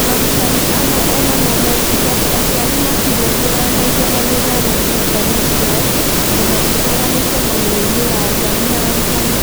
Arutani amwe o na no mecirie atĩ aciari ndũrũmbũyagia na gĩthomo kĩa ciana ciao tondũ matiũkaga mĩcemanio-inĩ ya aciari na arutani.